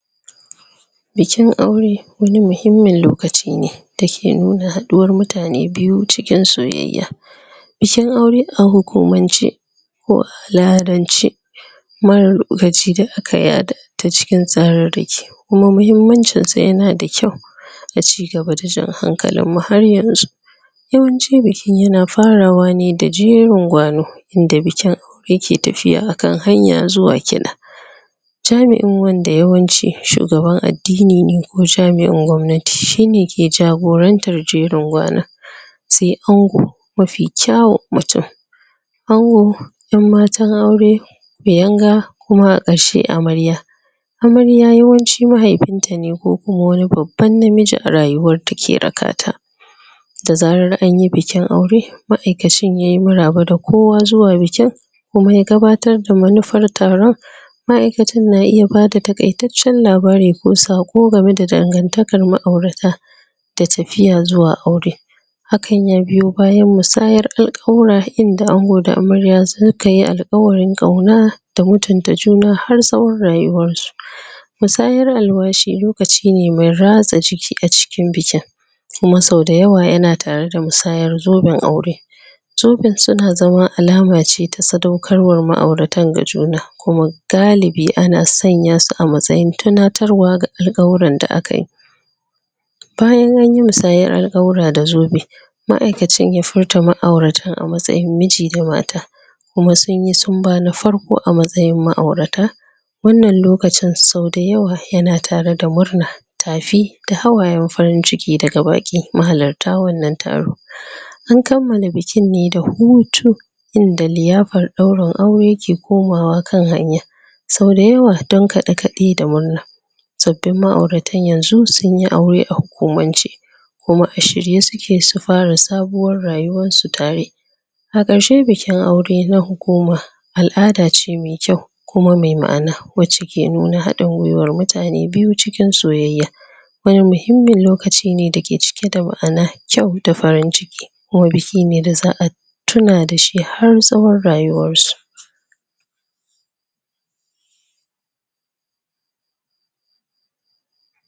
Bikin aure wani muhimmin lokaci ne da ke nuna haɗuwar mutane biyu cikin soyayya, ,bikin aure a hukumance ko a al'adance marar lokaci da aka yada, ta cikin tsararraki, kuma mahimmancinsa yanada kyau da cigaba da jan hankalinmu har yanzu, yawanci biki ya na farawa ne da jrin gwano, inda bikin aure ke tafiya a kan hanya zuwa kiɗa, jami'in wanda yawanci shugaban addini ne ko jami'in gwamnati shine ke jagorantar jerin gwana, sai ango mafi kyawun mutum, ango, 'yan matan aure, biyanga, kuma a ƙarshe amarya, amarya yawanci mahaifinta ne ko ko wani babban namiji a rayuwarta ke rakata, da zarar anyi bikin aure ma'aikacin yai maraba da kowa zuwa bikin kuma ya gabatar da manufar taron, ma'aikacin na iya bada taƙaitaccen labari ko saƙo game da dangantakar ma'aurata da tafiya zuwa aure, hakan ya biyo bayan musayar alƙawura inda ango da amarya su ka yi alƙawarin ƙauna da mutunta juna har tsawon rayuwarsu, musayar alwashi lokaci ne mai ratsa jiki a cikin bikin, kuma sau da yawa ya na tare da musayar zoben aure, zobensu na zama alama ce ta sadaukarwar ma'auratan ga juna, kuma galibi ana sanya su a matsayin tunatarwa ga alƙawuran da akai, bayan an yi musayar alƙawura da zobe ma'aikacin ya furta ma'auratan a matsayin miji da mata, kuma sunyi sumba na farko a matsayin ma'aurata, wannan lokacin sau da yawa ya na tare da murna, tafi, da hawayen farin ciki daga baƙi mahalarta wannan taro, an kammala bikin ne da hutu inda liyafar ɗaurin aure ke komawa kan hanya, sau dayawa don kaɗe-kaɗe da murna, sabbin ma'auratan yanzu sunyi aure a hukumance, kuma a shirye suke su fara sabuwar rayuwarsu tare, a ƙarshe bikin aure na hukuma al'ada ce mai kyau, kuma mai ma'ana wacce ke nuna haɗin gwaiwar mutane biyu cikin soyayya, wani muhimmin lokaci ne da ke cike da ma'ana, kyau da farin ciki, kuma biki ne da za'a tuna da shi har tsawon rayuwarsu.